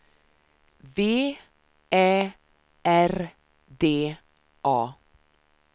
V Ä R D A